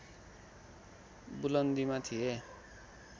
बुलन्दीमा थिए